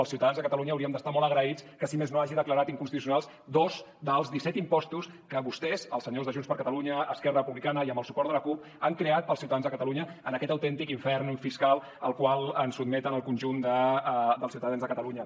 els ciutadans de catalunya hauríem d’estar molt agraïts que si més no hagi declarat inconstitucionals dos dels disset impostos que vostès els senyors de junts per catalunya esquerra republicana i amb el suport de la cup han creat per als ciutadans de catalunya en aquest autèntic infern fiscal al qual ens sotmeten al conjunt dels ciutadans de catalunya